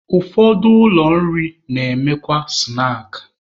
Ụfọdụ ụlọ nri na-emekwa snaakị.